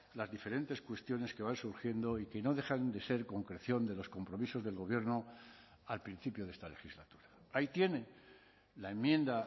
las diferentes cuestiones que van surgiendo y que no dejan de ser concreción de los compromisos del gobierno al principio de esta legislatura ahí tiene la enmienda